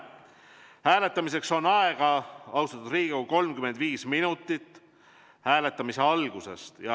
Hääletamiseks on aega, austatud Riigikogu, 35 minutit alates hääletamise algusest.